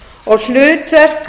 kjörnefnd hlutverk